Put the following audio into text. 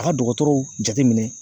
A ka dɔgɔtɔrɔw jateminɛ